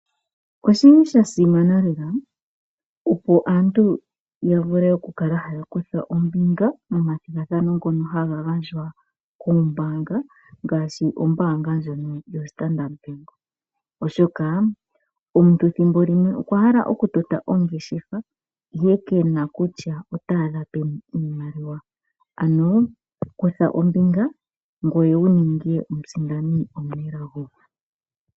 Oshili sha simana lela opo aantu yavule oku kala haya kutha ombinga momathingathano ngono haga gandjwa kombanga ngashi ombanga ndjono yo standard bank ,oshoka omuntu thimbo limwe okwahala oku tota ongeshefa ihe kena kutya otadha peni iimaliwa ano kutha ombinga ngweye wuninge omusindani omunelago.